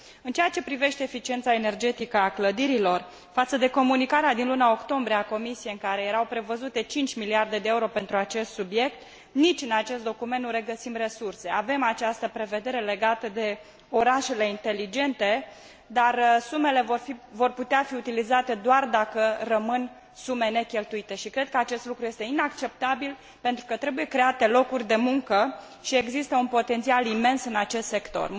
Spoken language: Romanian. În ceea ce privește eficiența energetică a clădirilor, față de comunicarea din luna octombrie a Comisiei în care erau prevăzute 5 miliarde de euro pentru acest subiect, nici în acest document nu regăsim resurse. Avem această prevedere legată de orașele inteligente, dar sumele vor putea fi utilizate doar dacă rămân sume necheltuite și cred că acest lucru este inacceptabil, pentru că trebuie create locuri de muncă și există un potențial imens în acest sector.